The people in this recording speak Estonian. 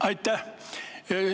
Aitäh!